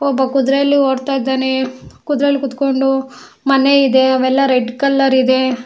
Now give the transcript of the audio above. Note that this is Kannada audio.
ಒಬ್ಬ ಕುದರೆಲಿ ಓಡ್ತಾ ಇದಾನೆ ಕುದರೆಲಿ ಕುತ್ಕೊಂಡು ಮನೆ ಇದೆ ಅವೆಲ್ಲಾ ರೆಡ್ ಕಲರ್ ಇದೆ.